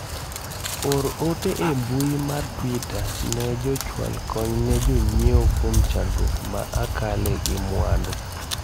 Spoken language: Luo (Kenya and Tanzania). or ote e mbui mar twita ne jochwal kony ne jonyiewo kuom chandruok ma akale gi mwandu